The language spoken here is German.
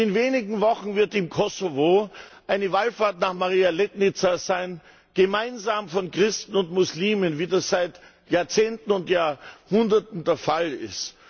Und in wenigen Wochen wird im Kosovo eine Wallfahrt nach Maria Letnica sein, gemeinsam von Christen und Muslimen, wie das seit Jahrzehnten und Jahrhunderten der Fall ist.